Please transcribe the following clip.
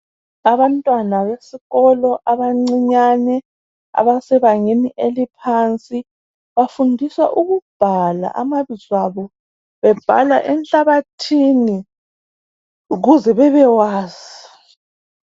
Abantwana besikolo abancinyane abasebangeni eliphansi bafundiswa ukubhala amabizo abo bebhala enhlabathini ukuze bebewazi.